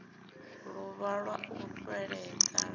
ḓuvha ḽa u fhedzisa ḽa